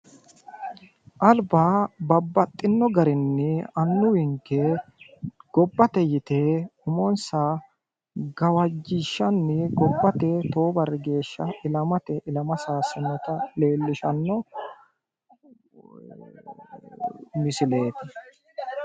alba babbaxino garinni annuwinke gobbate yite umonsa gawajjishshani gobbate tewo barri geeshsha ilamatenni ilama sayissannota leellishshanno misileeti